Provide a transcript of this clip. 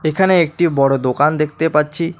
এখানে একটি বড় দোকান দেখতে পাচ্ছি।